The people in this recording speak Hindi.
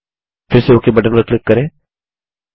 फिर से ओक बटन पर क्लिक करें